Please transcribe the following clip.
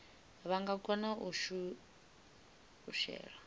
vha nga kona u shela